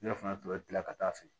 Ne fana tun bɛ kila ka taa fɛ